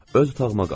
Öz otağıma qalxdım.